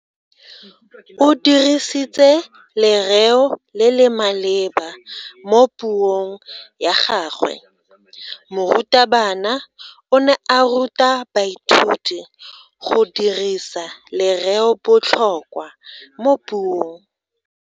O dirisitse lereo le le maleba mo puong ya gagwe. Morutabana o ne a ruta baithuti go dirisa lereobotlhokwa mo puong.